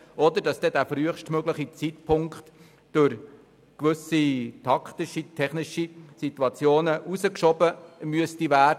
oder es kann sein, dass dieser frühestmögliche Zeitpunkt in gewissen taktisch-technischen Situationen herausgeschoben werden muss.